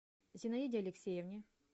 зинаиде алексеевне